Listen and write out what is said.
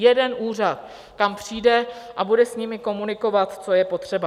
Jeden úřad, kam přijde a bude s nimi komunikovat, co je potřeba.